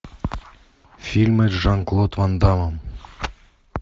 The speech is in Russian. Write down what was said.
фильмы с жан клод ван дамом